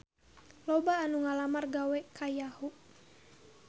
Loba anu ngalamar gawe ka Yahoo!